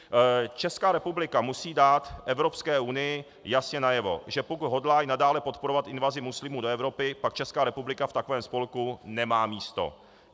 Česká republika musí dát Evropské unii jasně najevo, že pokud hodlá i nadále podporovat invazi muslimů do Evropy, pak Česká republika v takovém spolku nemá místo.